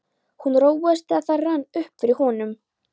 Hann róaðist, þegar það rann upp fyrir honum.